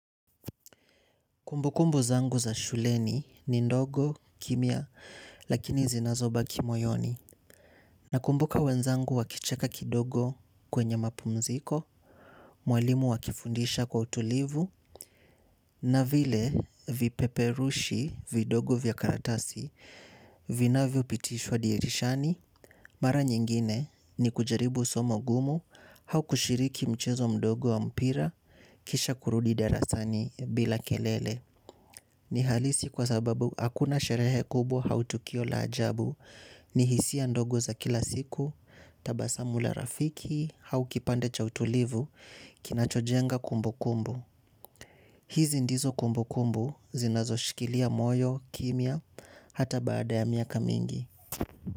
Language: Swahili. Kumbukumbu zangu za shuleni ni ndogo kimya lakini zinazobaki moyoni. Nakumbuka wenzangu wakicheka kidogo kwenye mapumziko. Mwalimu akifundisha kwa utulivu. Na vile vipeperushi vidogo vya karatasi vinavyopitishwa dirishani. Mara nyingine ni kujaribu somo gumu au kushiriki mchezo mdogo wa mpira. Kisha kurudi darasani bila kelele. Ni halisi kwa sababu hakuna sherehe kubwa au tukio la ajabu. Ni hisia ndogo za kila siku, tabasamu la rafiki, au kipande cha utulivu, kinachojenga kumbukumbu. Hizi ndizo kumbukumbu zinazoshikilia moyo, kimya, hata baada ya miaka mingi.